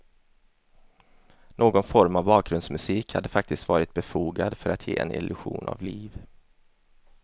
Någon form av bakgrundsmusik hade faktiskt varit befogad för att ge en illusion av liv.